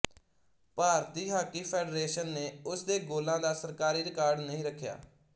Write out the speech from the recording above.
ਭਾਰਤੀ hockey federation ਨੇ ਉਸਦੇ ਗੋਲਾਂ ਦਾ ਸਰਕਾਰੀ ਰਿਕਾਰਡ ਨਹੀਂ ਰੱਖਿਆ